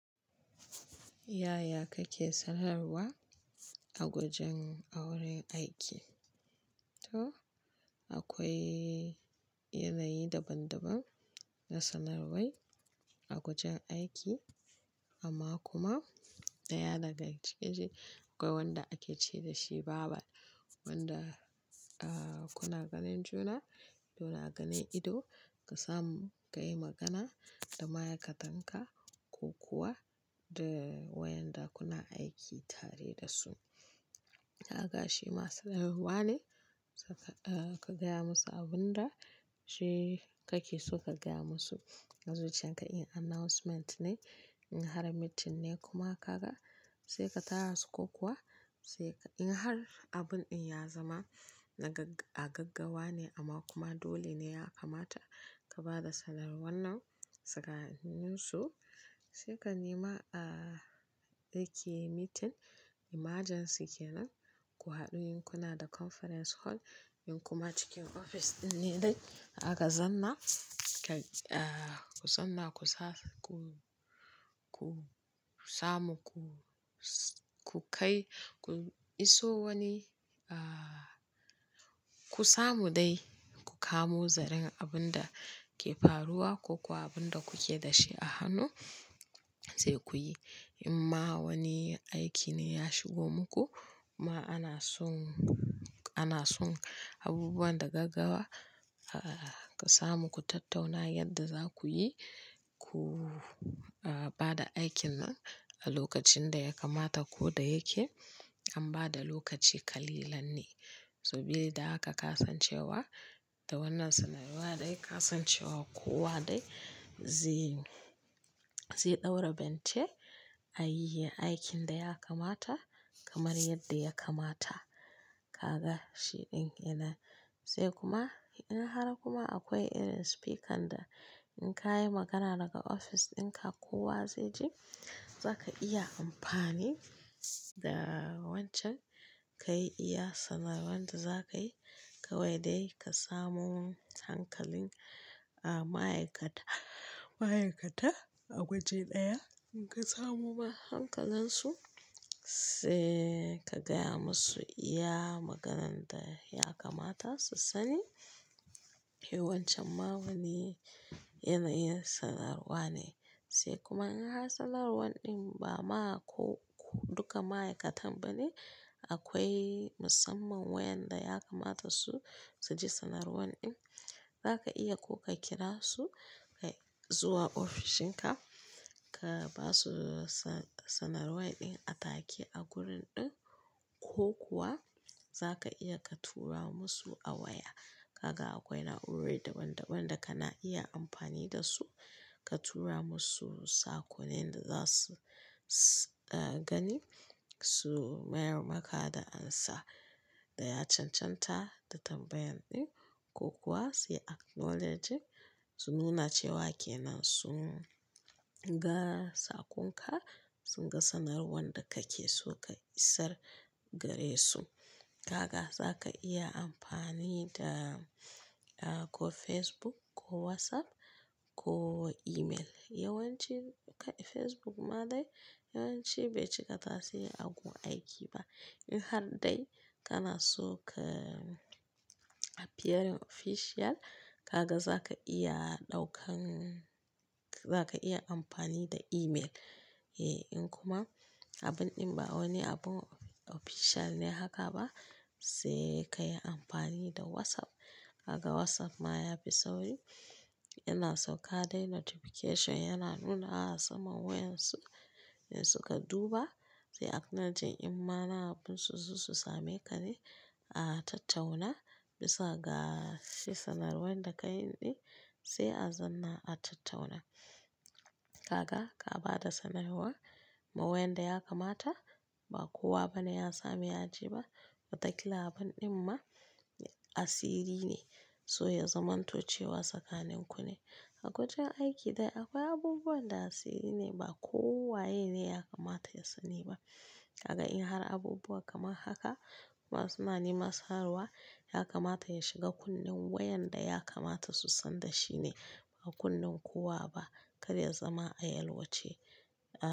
Yaya kake sanarwa a wajen auren aiki? To akwai yanayi daban-daban na sanarwai a wajen aiki amma kuma ɗaya daga cikin shi akwai wanda ake ce da shi "babal", wanda, ah, kuna ganin juna, kuna ganin ido, ka samu ka yi magana da ma'aikatanka ko kuwa da wayanda kuna aiki tare da su. Kaga shi masu sanarwa ne, saka, ah, ka gaya musu abin da shi kake so ka gaya musu. Zuciyar ka in announcement ne, in har meeting ne kuma kaga sai ka tara su ko kuwa sai ka-- in har abun ɗin ya zama na gagga- a gaggawa ne amma kuma dole ne ya kamata ka ba da sanarwar nan suka hannin su, sai ka nema, ah, da ke meeting emergency kenan, ku haɗu in kuna da conference hall in kuma cikin ofis ɗin ne dai. Aka zanna, ka, ah, ku zanna ku sa ku-ku samu ku-ku kai, ku iso wani, ah, ku samu dai ku kamo zaren abin da ke faruwa ko kuwa abin da kuke da shi a hannu sai kuyi. In ma wani aiki ne ya shigo muku ma ana son, ana son abubuwan da gaggawa, ah, ka samu ku tattauna yadda za ku yi ku, ah, ba da aikin nan a lokacin da ya kamata ko da yake an ba da lokaci kalilan ne. So bili da haka ka san cewa da wannan sanarwa dai ka san cewa kowa dai zai, zai ɗaura bente a yi aikin da ya kamata kamar yadda ya kamata. Kaga shi ɗin yana. Sai kuma in har kuma akwai irin speaker da in ka yi magana daga ofis ɗinka kowa zai ji, za ka iya amfani da wancan ka yi iya sanarwar da za ka yi. Kawai dai ka samu hankalin, ah, ma'aikata, ma'aikata a waje ɗaya. In ka samu ma hankalarsu sai ka gaya musu iya maganan da ya kamata su sani. Yawancin ma wani yanayin sanarwa ne. Sai kuma in har sanarwar ɗin ba ma ko duka ma'aikatan ba ne, akwai musamman wayanda ya kamata su, su ji sanarwar ɗin, za ka iya ko ka kira su kai zuwa ofishinka ka ba su sa-sanarwai ɗin a take a gurin ɗin ko kuwa za ka iya ka tura musu a waya. Kaga akwai na'urori daban-daban da kana iya amfani da su. Ka tura musu sakonin da za su, su, ah, gani, su mayar maka da ansa da ya cancanta da tambayan ɗin ko kuwa sai acknowledging, su nuna cewa ke nan sun ga saƙonka, sun ga sanarwar da kake so ka isar gare su. Kaga za ka iya amfani da, ah, ko Facebook ko WhatsApp ko email. Yawanci kai Facebook ma dai yawanci bai cika tasiri a gun aiki ba. In har dai kana so ka appearing official, ka ga za ka iya ɗaukan-- za ka iya amfani da email. Eh, in kuma abun ɗin ba wani abun official ne haka ba, sai ka yi amfani da WhatsApp. Haka WhatsApp ma ya fi sauri. Yana sauƙa dai notification yana nunawa a saman wayan su in suka duba. Sui acknowledging in ma na abun su su same ka ne a tattauna bisa ga shi sanarwar da ka yi ɗin sai a zanna a tattauna. Kaga ka ba da sanarwa ma wayanda ya kamata, ba kowa bane ya sami ya ji ba. Wataƙila abun ɗin ma asiri ne, so ya zamanto cewa tsakanin ku ne. A wajen aiki dai akwai abubuwan da asiri ne ba kowa yene ne ya kamata ya sani ba. Kaga in har abubuwa kaman haka ma suna nema sanarwa, ya kamata ya shiga kunnen wayanda ya kamata su san da shi ne, ba kunnen kowa ba. Kada ya zama a yalwace.